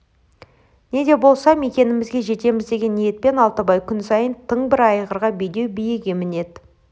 не де болса мекенімізге жетеміз деген ниетпен алтыбай күн сайын тың бір айғырға бедеу биеге мінеді